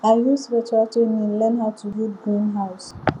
i use virtual training learn how to build greenhouse